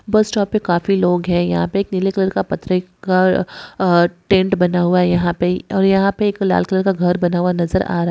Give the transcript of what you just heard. बस स्टॉप पे काफी लोग है यहां पे एक नीले कलर का परदे का टेंट बना हुआ यहां पे और यहां पे एक लाल कलर का घर बना हुआ नजर आ रहा है।